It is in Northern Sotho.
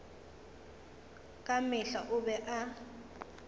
ka mehla o be a